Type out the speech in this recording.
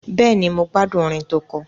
Bẹ́ẹ̀ni, mo gbádùn orin tó kọ.